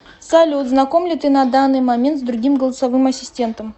салют знаком ли ты на данный момент с другим голосовым ассистентом